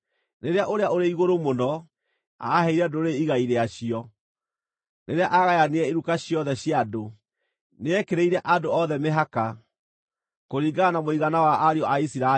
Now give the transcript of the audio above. Rĩrĩa Ũrĩa-ũrĩ-Igũrũ-Mũno aaheire ndũrĩrĩ igai rĩacio, rĩrĩa aagayanirie iruka ciothe cia andũ, nĩekĩrĩire andũ othe mĩhaka, kũringana na mũigana wa ariũ a Isiraeli.